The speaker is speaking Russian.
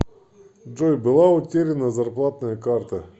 джой была утеряна зарплатная карта